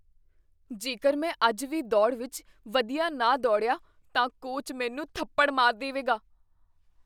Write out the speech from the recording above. ਜੇਕਰ ਮੈਂ ਅੱਜ ਦੀ ਦੌੜ ਵਿਚ ਵਧੀਆ ਨਾ ਦੌੜਿਆ ਤਾਂ ਕੋਚ ਮੈਨੂੰ ਥੱਪੜ ਮਾਰ ਦੇਵੇਗਾ।